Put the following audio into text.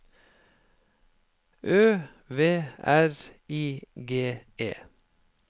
Ø V R I G E